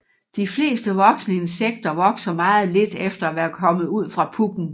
De fleste voksne insekter vokser meget lidt efter at være kommet ud fra puppen